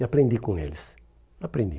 E aprendi e aprendi com eles.